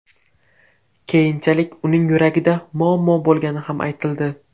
Keyinchalik uning yuragida muammo bo‘lgani ham aytildi.